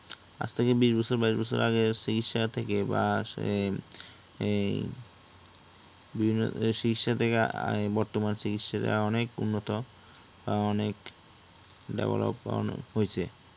আজ থেকে বিশ বছর বাইশ বছর আগের চিকিৎসা থেকে বর্তমান চিকিৎসাটা অনেক উন্নত অনেক development হইছে।